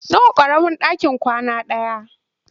Nawa ƙaramin ɗaki kwana ɗaya?